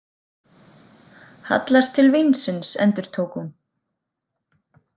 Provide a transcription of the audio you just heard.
Hallast til vínsins, endurtók hún.